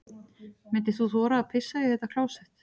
Myndir þú þora að pissa í þetta klósett?